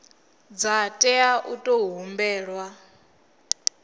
dza tea u tou humbelwa